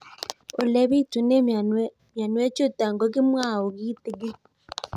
Ole pitune mionwek chutok ko kimwau kitig'ín